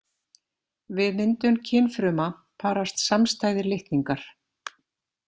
Við myndun kynfruma parast samstæðir litningar.